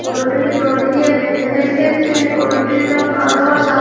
গরুটিকে দড়ি দিয়ে বেঁধে রেখেছে গরুটির রং কালো আর সাদ --